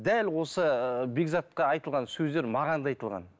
дәл осы бекзатқа айтылған сөздер маған да айтылған